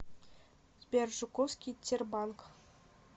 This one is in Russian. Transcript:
сбер жуковский тербанк